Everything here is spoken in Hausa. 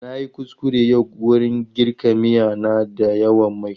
Na yi kuskure yau wurin girka miya na da yawan mai.